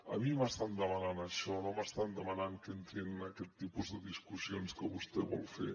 a mi m’estan demanant això no m’estan demanant que entrem en aquest tipus de discussions que vostè vol fer